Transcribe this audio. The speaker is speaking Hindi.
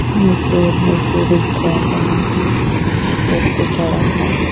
मजदूर मजदूरी कर रहे हैं व्यक्ति खड़ा हैं।